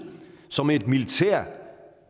som et militær